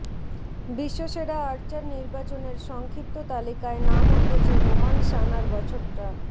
বিশ্বসেরা archer নির্বাচনের সংক্ষিপ্ত তালিকায় নাম উঠেছে রোমান সানার বছরটা